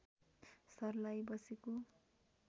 सर्लाही बसेको